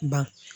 Ba